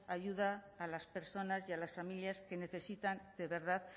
ayuda a las personas y a las familias que necesitan de verdad